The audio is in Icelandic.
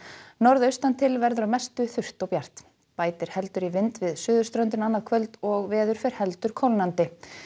norðaustan til verður að mestu þurrt og bjart bætir heldur í vind við suðurströndina annað kvöld og veður fer heldur kólnandi